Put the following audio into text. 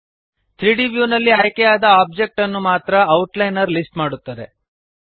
3ದ್ ವ್ಯೂ ನಲ್ಲಿ ಆಯ್ಕೆಯಾದ ಆಬ್ಜೆಕ್ಟ್ ಅನ್ನು ಮಾತ್ರ ಔಟ್ಲೈನರ್ ಲಿಸ್ಟ್ ಮಾಡುತ್ತದೆ